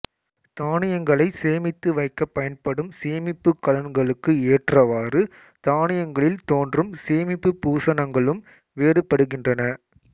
தானியங்களைச் சேமித்து வைக்கப் பயன்படும் சேமிப்புக் கலன்களுக்கு ஏற்றவாறு தானியங்களில் தோன்றும் சேமிப்புப் பூசணங்களும் வேறுபடுகின்றன